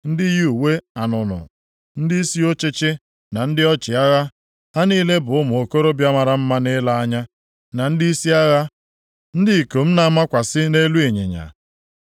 ndị yi uwe anụnụ, ndịisi ọchịchị na ndị ọchịagha, ha niile bụ ụmụ okorobịa mara mma nʼile anya, na ndịisi agha, ndị ikom na-amakwasị nʼelu ịnyịnya.